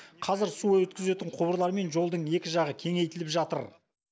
қазір су өткізетін құбырлар мен жолдың екі жағы кеңейтіліп жатыр